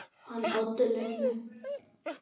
Hann Oddur litli?